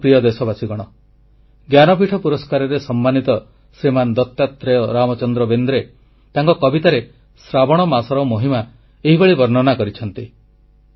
ମୋର ପ୍ରିୟ ଦେଶବାସୀଗଣ ଜ୍ଞାନପୀଠ ପୁରସ୍କାରରେ ସମ୍ମାନିତ ଶ୍ରୀମାନ ଦତାତ୍ରେୟ ରାମଚନ୍ଦ୍ର ବେନେ୍ଦ୍ର ତାଙ୍କ କବିତାରେ ଶ୍ରାବଣ ମାସର ମହିମା ଏହିଭଳି ବର୍ଣ୍ଣନା କରିଛନ୍ତି